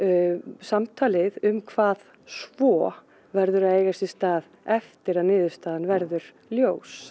samtalið um hvað svo verður eiga sér stað eftir að niðurstaðan verður ljós